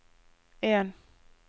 en